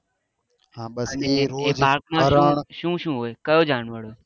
એ બાગ માં શું શું હોય કયો જાનવર હોય